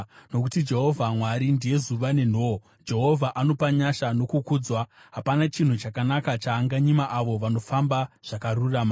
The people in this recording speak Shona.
Nokuti Jehovha Mwari ndiye zuva nenhoo; Jehovha anopa nyasha nokukudzwa; hapana chinhu chakanaka chaanganyima avo vanofamba zvakarurama.